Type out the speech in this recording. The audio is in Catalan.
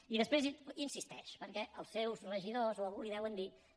i després insisteix perquè els seus regidors o algú li ho deuen dir